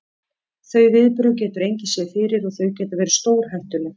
Þau viðbrögð getur engin séð fyrir og þau geta verið stórhættuleg.